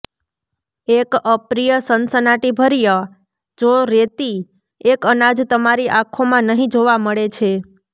એક અપ્રિય સનસનાટીભર્યા જો રેતી એક અનાજ તમારી આંખો માં નહીં જોવા મળે છે